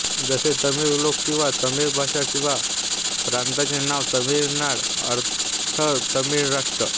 जसे तमिळ लोकं किंवा तमिळ भाषा किंवा प्रांताचे नाव तमिळनाड अर्थतमिळ राष्ट्र